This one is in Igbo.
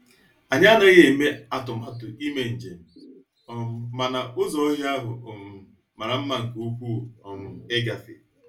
Anyị anaghị eme atụmatụ ime njem, um mana ụzọ ọhịa ahụ um mara mma nke ukwuu um ịgafe.